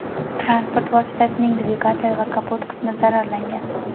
Transport vositasining dvigatel va kapot qismi zararlangan.